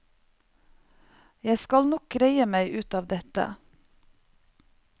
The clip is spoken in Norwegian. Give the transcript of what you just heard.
Jeg skal nok greie meg ut av dette.